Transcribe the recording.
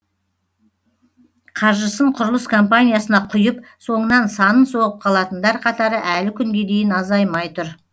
қаржысын құрылыс компаниясына құйып соңынан санын соғып қалатындар қатары әлі күнге дейін азаймай тұр